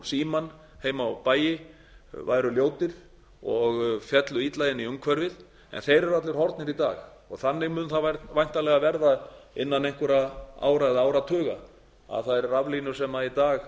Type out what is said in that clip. símann heim á bæi væru ljótir og féllu illa inn í umhverfið eru allir horfnir í dag g þannig mun það væntanlega verða innan einhverra ára eða áratuga að þær raflínur sem í dag